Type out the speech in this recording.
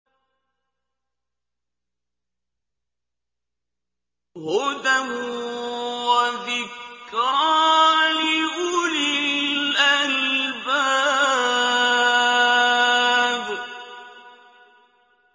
هُدًى وَذِكْرَىٰ لِأُولِي الْأَلْبَابِ